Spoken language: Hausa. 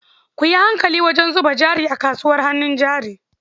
Ku yi hankali wajen zuba jari a kasuwar hannun jari.